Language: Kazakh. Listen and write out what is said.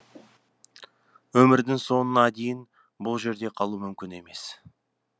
өмірдің соңына дейін бұл жерде қалу мүмкін емес